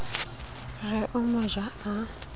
re o mo ja a